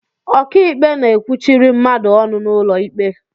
Ọkịikpe na-ekwuchiri mmadụ ọnụ n'ụlọ ikpe